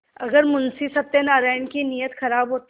अगर मुंशी सत्यनाराण की नीयत खराब होती